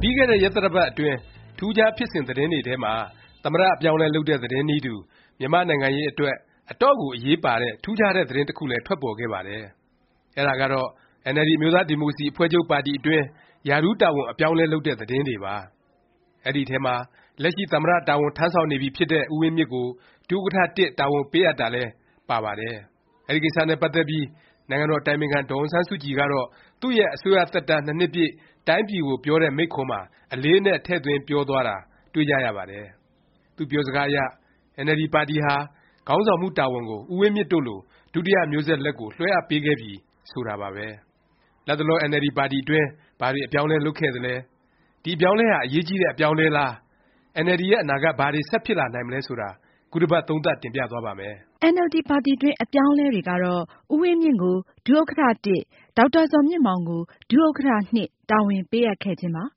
ပြီးခဲ့တဲ့ ရက်သတ္တပတ် အတွင်း ထူးခြားဖြစ်စဉ် သတင်းတွေထဲမှာ သမ္မတ အပြောင်းအလဲ လုပ်တဲ့ သတင်းနည်းတူ မြန်မာ့နိုင်ငံရေး အတွက် အတော့်ကို အရေးပါတဲ့ ထူးခြားတဲ့ သတင်းတခုလည်း ထွက်ပေါ်ခဲ့ပါတယ်။ အဲဒါကတော့ NLD အမျိုးသားဒီမိုကရေစီ အဖွဲ့ချုပ်ပါတီ အတွင်း ရာထူးတာဝန် အပြောင်းအလဲ လုပ်တဲ့ သတင်းတွေပါ။ အဲဒီအထဲမှာ လက်ရှိ သမ္မတ တာဝန်ထမ်းဆောင်နေပြီဖြစ်တဲ့ ဦးဝင်းမြင့်ကို ဒုဥက္ကဌ တာဝန်ပေးအပ်တာလည်း ပါပါတယ်။ အဲဒီကိစ္စနဲ့ ပတ်သက်ပြီး နိုင်ငံတော်အတိုင်ပင်ခံပုဂ္ဂိုလ် ဒေါ်အောင်ဆန်းစုကြည်ကတော့ သူ့ရဲ့ အစိုးရ သက်တန်း ၂ နှစ်ပြည့် တိုင်းပြည်ကို ပြောတဲ့ မိန့်ခွန်းမှာ အလေးအနက် ထည့်သွင်းပြောသွားတာ တွေ့ကြရပါတယ်။ သူ့ပြောစကားအရ အင်န်အယ်လ်ဒီ ပါတီဟာ ခေါင်းဆောင်မှု တာဝန်ကို ဦးဝင်းမြင့်တို့လို ဒုတိယ မျိုးဆက် လက်ကို လွှဲအပ်ပေးခဲ့ပြီ ဆိုတာပါပဲ။ လတ်တလော NLD ပါတီတွင်း ဘာတွေ အပြောင်းအလဲ လုပ်ခဲ့သလဲ၊ ဒီ အပြောင်းအလဲဟာ အရေးကြီးတဲ့ အပြောင်းအလဲလား၊ NLD ရဲ့ အနာဂတ် ဘာတွေ ဆက်ဖြစ်လာနိုင်မလဲ ဆိုတာ ခုတပတ် သုံးသပ် တင်ပြသွားပါ့မယ်။ NLD ပါတီတွင်း အပြောင်းအလဲတွေကတော့ ဦးဝင်းမြင့်ကို ဒုဥက္ကဌ ၊ ဒေါက်တာဇော်မြင့်မောင်ကို ဒုဥက္ကဌ တာဝန် ပေးအပ်ခဲ့ခြင်းပါ။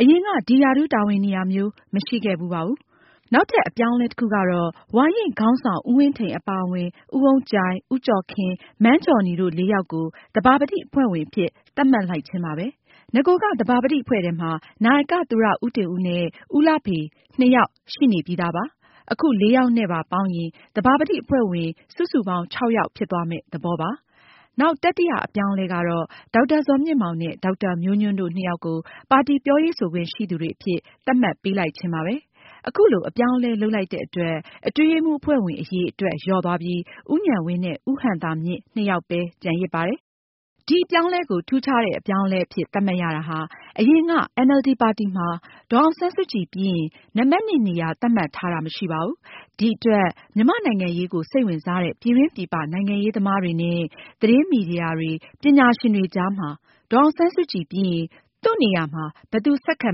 အရင်က ဒီ ရာထူးတာဝန်နေရာမျိုး မရှိခဲ့ဖူးပါဘူး။ နောက်ထပ် အပြောင်းအလဲ တခုကတော့ ဝါရင့်ခေါင်းဆောင် ဦးဝင်းထိန် အပါအဝင် ဦးအုန်းကြိုင်၊ ဦးကျော်ခင်၊ မန်းဂျော်နီ တို့ လေးယောက်ကို သဘာပတိ အဖွဲ့ဝင်အဖြစ် သတ်မှတ်လိုက်ခြင်းပါပဲ။ နဂိုက သဘာပတိ အဖွဲ့ထဲမှာ နာယက သူရဦးတင်ဦးနဲ့ ဦးလှဖေ နှစ်ယောက် ရှိနှင့်နေပြီမို့ အခု ၄ ယောက်နဲ့ပါ ပေါင်းရင် သဘာပတိ အဖွဲ့ဝင် စုစုပေါင်း ၆ ယောက် ဖြစ်သွားမယ့် သဘောပါ။ နောက် တတိယ အပြောင်းအလဲကတော့ ဒေါက်တာဇော်မြင့်မောင်နဲ့ ဒေါက်တာမျိုးညွန့်တို့ နှစ်ယောက်ကို ပါတီ ပြောရေးဆိုခွင့် ရှိသူတွေ အဖြစ် သတ်မှတ်ပေးလိုက်ခြင်းပါပဲ။ အခုလို အပြောင်းအလဲ လုပ်လိုက်တဲ့အတွက် အတွင်းရေးမှူး အဖွဲ့ဝင် အရည်အတွက် လျော့သွားပြီး ဦးဉာဏ်ဝင်းနဲ့ ဦးဟံသာမြင့် နှစ်ယောက်ပဲ ကျန်ရစ်ပါတယ်။ ဒီအပြောင်းအလဲကို ထူးခြားတဲ့ အပြောင်းအလဲ အဖြစ် သတ်မှတ်ရတာဟာ အရင်က NLD ပါတီမှာ ဒေါ်အောင်ဆန်းစုကြည် ပြီးရင် နံပတ် နေရာ သတ်မှတ်ထားတာ မရှိပါဘူး။ ဒီအတွက် မြန်မာ့နိုင်ငံအရေးကို စိတ်ဝင်စားတဲ့ ပြည်တွင်းပြည်ပ နိုင်ငံရေးသမားတွေနဲ့ သတင်းမီဒီယာတွေ၊ပညာရှင်တွေကြားမှာ ဒေါ်အောင်ဆန်းစုကြည်ပြီးရင် သူ့ကို ဘယ်သူ ဆက်ခံ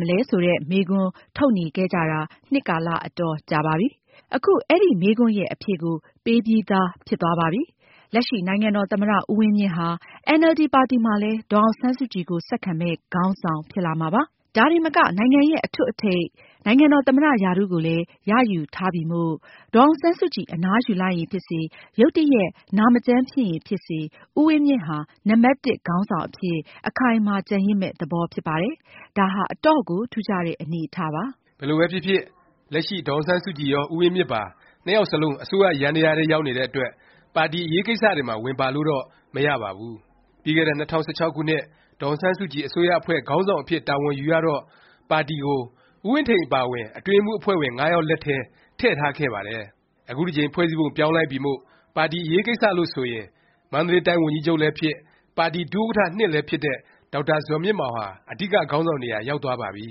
မှာလဲ ဆိုတဲ့ မေးခွန်း ထုတ်နေခဲ့ကြတာ နှစ်ကာလ အတော်ကြာပါပြီ။ အခု အဲဒီ မေးခွန်းရဲ့ အဖြေကို ပေးပြီးသား ဖြစ်သွားပါပြီ။ လက်ရှိ နိုင်ငံတော် သမ္မတ ဦးဝင်းမြင့်ဟာ NLD ပါတီမှာလည်း ဒေါ်အောင်ဆန်းစုကြည်ကို ဆက်ခံမယ့် ခေါင်းဆောင် ဖြစ်လာမှာပါ။ ဒါတင်မက နိုင်ငံရဲ့ အထွဋ်အထိပ် နိုင်ငံတော် သမ္မတ ရာထူးကိုလည်း ရယူထားပြီမို့၊ ဒေါ်အောင်ဆန်းစုကြည် အနားယူလိုက်ရင် ဖြစ်စေ၊ ရုတ်တရက် နာမကျန်း ဖြစ်ရင် ဖြစ်စေ ဦးဝင်းမြင့်ဟာ နံပတ်တစ် ခေါင်းဆောင်အဖြစ် အခိုင်အမာ ကျန်ရစ်မယ့် သဘောဖြစ်ပါတယ်။ ဒါဟာ အတော့်ကို ထူးခြားတဲ့ အနေအထားပါ။ ဘယ်လိုပဲဖြစ်ဖြစ် လက်ရှိ ဒေါ်အောင်ဆန်းစုကြည်ရော၊ ဦးဝင်းမြင့်ပါ နှစ်ယောက်စလုံး အစိုးရယန္တယားထဲ ရောက်နေတဲ့အတွက် ပါတီ အရေးကိစ္စတွေမှာ ပါဝင်လို့တော့ မရပါဘူး။ ပြီးခဲ့တဲ့ ၂၀၁၆ ခုနှစ် ဒေါ်အောင်ဆန်းစုကြည် အစိုးရအဖွဲ့ ခေါင်းဆောင်အဖြစ် တာဝန်ယူရတော့ ပါတီကို ဦးဝင်းထိန် အပါအဝင် အတွင်းရေးမှူး အဖွဲ့ဝင် ၅ ယောက် လက်ထဲ ထည့်ထားခဲ့ပါတယ်။ အခုတကြိမ် ဖွဲ့စည်းပုံ ပြောင်းလိုက်ပြီမို့ ပါတီ အရေးကိစ္စလို့ ဆိုရင် မန္တလေးတိုင်း ဝန်ကြီးချုပ်လည်းဖြစ်၊ ပါတီ ဒုဥက္ကဌ လည်းဖြစ်တဲ့ ဒေါက်တာဇော်မြင့်မောင်ဟာ အဓိက ခေါင်းဆောင် နေရာ ရောက်သွားပါပြီ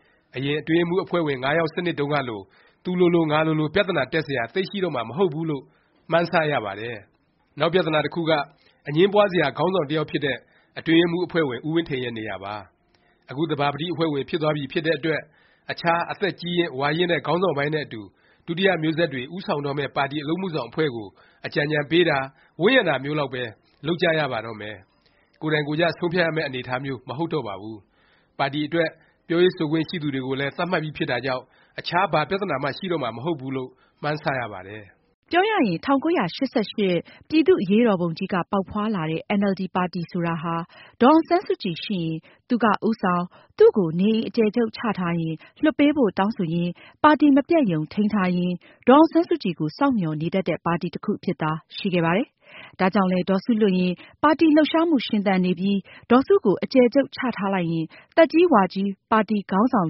။ အရင် အတွင်းရေးမှူး အဖွဲ့ဝင် ၅ ယောက် စနစ်တုန်းကလို သူလိုလို ငါလိုလို ပြသနာတက်စရာ သိပ်ရှိတော့မှာ မဟုတ်ဘူးလို့ မှန်းဆ ရပါတယ်။ နောက်ပြသနာ တခုက အငြင်းပွားစရာ ခေါင်းဆောင်တစ်ယောက်ဖြစ်တဲ့ အတွင်းရေးမှူး အဖွဲ့ဝင် ဦးဝင်းထိန်ရဲ့ နေရာပါ။ အခု သဘာပတိ အဖွဲ့ဝင် ဖြစ်သွားပြီ ဖြစ်တဲ့အတွက် အခြား အသက်ကြီးရင့်၊ ဝါရင့်တဲ့ ခေါင်းဆောင်ပိုင်းနဲ့ အတူ ဒုတိယမျိုးဆက်တွေ ဦးဆောင်တော့မယ့် ပါတီ အလုပ်အမှုဆောင်အဖွဲ့ကို အကြံဉာဏ်ပေးတာ၊ ဝန်းရံတာမျိုးလောက်ပဲ လုပ်ကြရပါတော့မယ်။ ကိုယ်တိုင်ကိုယ်ကျ ဆုံးဖြတ်ရမယ့် အနေအထားမျိုး မဟုတ်တော့ပါဘူး။ ပါတီအတွက် ပြောရေးဆိုခွင့်ရှိသူတွေကိုလည်း သတ်မှတ်ပြီးဖြစ်တာကြောင့် အခြား ဘာပြသနာမှ ရှိတော့မှာ မဟုတ်ဘူးလို့ မှန်းဆရပါတယ်။ ပြောရရင် ၁၉၈၈ ပြည်သူ့အရေးတော်ပုံကြီးက ပေါက်ဖွားလာတဲ့ NLD ပါတီဆိုတာဟာ ဒေါ်အောင်ဆန်းစုကြည် ရှိရင် သူက ဦးဆောင်၊ သူ့ကို နေအိမ်အကျယ်ချုပ် ချထားရင် လွှတ်ပေးဖို့ တောင်းဆိုရင်း၊ ပါတီ မပျက်ရုံ ထိန်းထားရင်း ဒေါ်အောင်ဆန်းစုကြည်ကို စောင့်မျှော်နေတတ်တဲ့ ပါတီ တခုအဖြစ်သာ ရှိခဲ့ပါတယ်။ ဒါကြောင့်လည်း ဒေါ်စုလွတ်နေရင် ပါတီလှုပ်ရှားမှု ရှင်သန်နေပြီး? ဒေါ်စုကို အကျယ်ချုပ်ချထားလိုက်ရင် သက်ကြီးဝါကြီး ပါတီခေါင်းဆောင်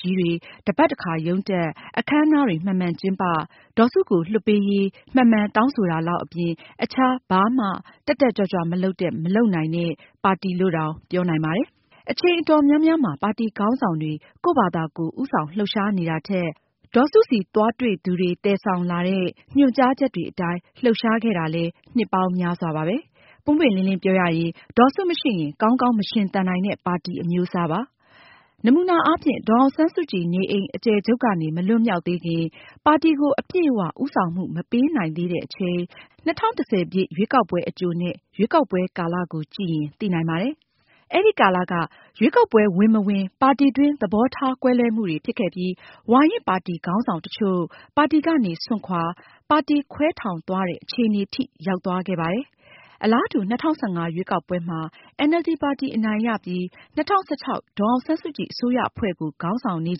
ကြီးတွေ တစ်ပတ်တစ်ခါ ရုံးတက်၊ အခန်းအနားတွေ မှန်မှန်ကျင်းပ၊ ဒေါ်စုကို လွှတ်ပေးရေး မှန်မှန်တောင်းဆိုတာလောက်အပြင် အခြား ဘာမှ တက်တက်ကြွကြွ မလုပ်တဲ့ မလုပ်နိုင်တဲ့ ပါတီလို့တောင် ပြောနိုင်ပါတယ်။ အချိန် အတော်များများမှာ ပါတီခေါင်းဆောင်တွေ ကိုယ့်ဖာသာကိုယ် ဦးဆောင်လှုပ်ရှားနေတာထက် ဒေါ်စုဆီသွားတွေ့သူတွေ သယ်ဆောင်လာတဲ့ ညွှန်ကြားချက်တွေအတိုင်း လှုပ်ရှားခဲ့တာလည်း နှစ်ပေါင်းများစွာပါပဲ။ ပွင်ပွင့်လင်းလင်း ပြောရရင်၊ ဒေါ်စုမရှိရင် ကောင်းကောင်း မရှင်သန်နိုင်တဲ့ ပါတီ အမျိုးအစားပါ။ နမူနာအားဖြင့် ဒေါ်အောင်ဆန်းစုကြည် နေအိမ် အကျယ်ချုပ်ကနေ မလွတ်မြောက်သေးခင်၊ ပါတီကို အပြည့်အ၀ ဦးဆောင်မှု မပေးနိုင်သေးတဲ့အချိန် ၂၀၁၀ ရွေးကောက်ပွဲအကြိုနဲ့ ရွေးကောက်ပွဲကာလ ကိုကြည့်ရင် သိနိုင်ပါတယ်။ အဲဒီကာလက ရွေးကောက်ပွဲ ဝင်၊ မဝင် ပါတီတွင်း သဘောထားကွဲလွဲမှုတွေ ဖြစ်ခဲ့ပြီး ဝါရင့်ပါတီခေါင်းဆောင်တချို့ ပါတီကနေ စွန့်ခွာ ၊ ပါတီခွဲထောင်သွားတဲ့ အခြေအနေထိ ရောက်သွားခဲ့ပါတယ်။ အလားတူ ၂၀၁၅ ရွေးကောက်ပွဲမှာ NLD ပါတီ အနိုင်ရပြီး ၂၀၁၆ ဒေါ်အောင်ဆန်းစုကြည် အစိုးရအဖွဲ့ကို ခေါင်းဆောင်နေ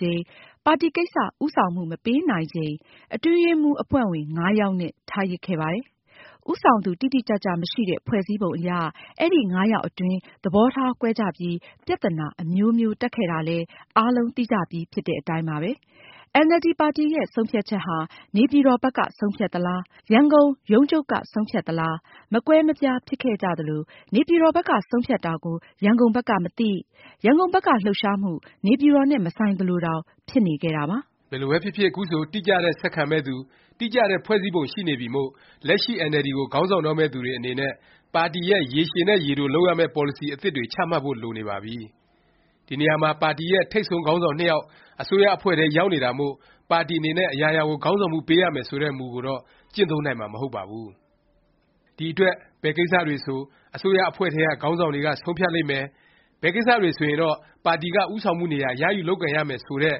ချိန်၊ ပါတီကိစ္စ ဦးဆောင်မှု မပေးနိုင်ချိန် အတွင်းရေးမှူး အဖွဲ့ဝင် ၅ ယောက်နဲ့ ထားရစ်ခဲ့ပါတယ်။ ဦးဆောင်သူ တိတိကျကျ မရှိတဲ့ ဖွဲ့စည်းပုံ အရ အဲဒီ ၅ ယောက်အတွင်း သဘောထား ကွဲကြပြီး ပြသနာ အမျိုးမျိုး တက်ခဲ့တာလည်း အားလုံး သိကြပြီဖြစ်တဲ့ အတိုင်းပါပဲ။ NLD ပါတီရဲ့ ဆုံးဖြတ်ချက်ဟာ နေပြည်တော်ဘက်က ဆုံးဖြတ်သလား၊ ရန်ကုန်ရုံးချုပ်က ဆုံးဖြတ်သလား၊ မကွဲမပြား ဖြစ်ခဲ့ကြသလို၊ နေပြည်တော်ဘက်က ဆုံးဖြတ်တာကို ရန်ကုန်ဘက်က မသိ၊ ရန်ကုန်ဘက်က လှုပ်ရှားမှု နေပြည်တော်နဲ့ မဆိုင်သလိုတောင် ဖြစ်နေခဲ့တာပါ။ ဘယ်လိုပဲဖြစ်ဖြစ် ခုဆို တိကျတဲ့ ဆက်ခံမယ့်သူ၊ တိကျတဲ့ ဖွဲ့စည်းပုံ ရှိနေပြီမို့ လက်ရှိ NLD ကို ခေါင်းဆောင်တော့မယ့်သူတွေ အနေနဲ့ ပါတီရဲ့ ရေရှည်နဲ့ ရေတို လုပ်ရမယ့် ပေါ်လစီ အသစ်တွေ ချမှတ်ဖို့ လိုနေပါပြီ။ ဒီနေရာမှာ ပါတီရဲ့ ထိပ်ဆုံးခေါင်းဆောင် နှစ်ယောက် အစိုးရအဖွဲ့ထဲ ရောက်နေတာမို့ ပါတီအနေနဲ့ အရာရာကို ခေါင်းဆောင်မှု ပေးရမယ် ဆိုတဲ့ မူကိုတော့ ကျင့်သုံးနိုင်မှာ မဟုတ်ပါဘူး။ ဒီအတွက် ဘယ်ကိစ္စတွေဆို အစိုးရအဖွဲ့ထဲက ခေါင်းဆောင်တွေက ဆုံးဖြတ်လိမ့်မယ်၊ ဘယ်ကိစ္စတွေဆိုရင်တော့ ပါတီက ဦးဆောင်မှုနေရာ ရယူလုပ်ကိုင်ရမယ် ဆိုတဲ့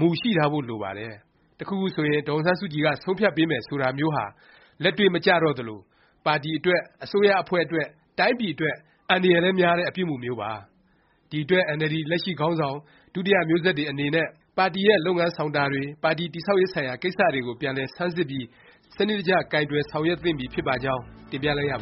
မူ ရှိထားဖို့ လိုပါတယ်။ တခုခု ဆိုရင် ဒေါ်အောင်ဆန်းစုကြည်က ဆုံးဖြတ်ပေးမယ် ဆိုတာမျိုးဟာ လက်တွေ့မကျတော့သလို၊ ပါတီအတွက်၊ အစိုးရအဖွဲ့အတွက်၊ တိုင်းပြည်အတွက် အန္တရာယ်လည်း များတဲ့ အပြုအမူမျိုးပါ။ ဒီအတွက် NLD လက်ရှိခေါင်းဆောင်၊ ဒုတိယ မျိုးဆက်တွေ အနေနဲ့ ပါတီရဲ့ လုပ်ငန်းဆောင်တာတွေ၊ ပါတီတည်ဆောက်ရေး ဆိုင်ရာ ကိစ္စတွေကို ပြန်လည် ဆန်းစစ်ပြီး စနစ်တကျ ကိုင်တွယ်ဆောင်ရွက်သင့်ပြီ ဖြစ်ပါကြောင်း တင်ပြလိုက်ရပါ